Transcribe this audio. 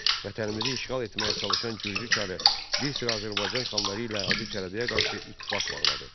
Vətənimizi işğal etməyə çalışan Gürcü çarı bir sıra Azərbaycan xanları ilə Hacı Çələbiyə qarşı ittifaq bağladı.